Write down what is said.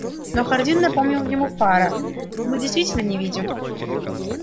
но хардин напомнил ему фара мы действительно не видим